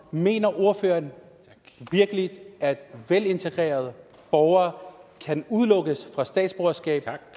mener ordføreren virkelig at velintegrerede borgere kan udelukkes fra statsborgerskab